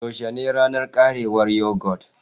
Yaushe ne ranar ƙarewar yogurt?